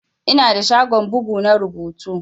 Ina da shagon bugu na rubutu.